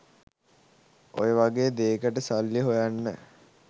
ඔය වගේ දේකට සල්ලි හොයන්න